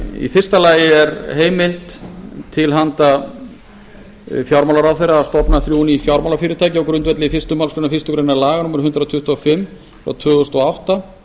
í fyrsta lagi er heimild til fjármálaráðherra að stofna þrjú ný fjármálafyrirtæki á grundvelli fyrstu málsgrein fyrstu grein laga númer hundrað tuttugu og fimm tvö þúsund og átta